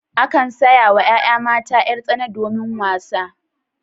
Akan saya wa yaya mata yar-tsana domin wasa.